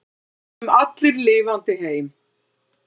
Við komum allir lifandi heim.